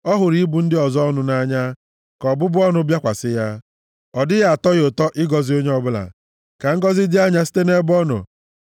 Ọ hụrụ ịbụ ndị ọzọ ọnụ nʼanya, ka ọbụbụ ọnụ bịakwasị ya; ọ dịghị atọ ya ụtọ ịgọzi onye ọbụla, ka ngọzị dị anya site nʼebe ọ nọ.